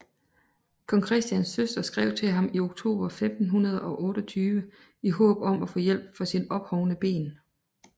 Kong Christians søster skrev til ham i oktober 1528 i håb om at få hjælp for sine ophovnede ben